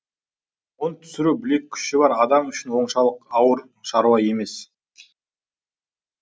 ұн түсіру білек күші бар адам үшін оншалық ауыр шаруа емес